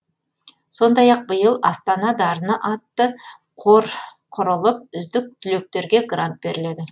сондай ақ биыл астана дарыны атты қор құрылып үздік түлектерге грант беріледі